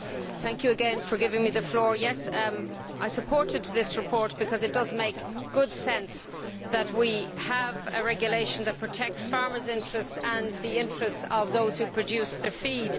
Mr President, thank you again for giving me the floor. I supported this report because it makes good sense that we should have a regulation that protects farmers' interests and the interests of those who produce their feed.